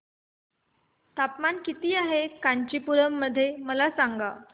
तापमान किती आहे कांचीपुरम मध्ये मला सांगा